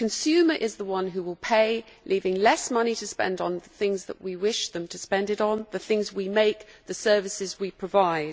The consumer is the one who will pay, leaving less money to spend on things that we wish them to spend it on the things we make, the services we provide.